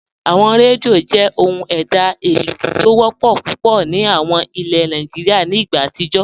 Awọn rẹ́díò jẹ́ ọhun èdá eléo ti o wọpọ́ púpọ̀ ni awọn ìlẹ̀ Nàìjíríà nì ìgbà àtijó.